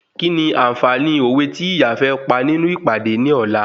Kíni ànfààní òwe tí ìyá fẹ́ pa nínú ìpàdé ní ọ̀la?